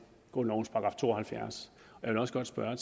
grundlovens § to og halvfjerds jeg vil også godt spørge